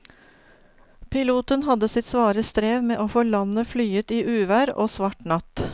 Piloten hadde sitt svare strev med å få landet flyet i uvær og svart natt.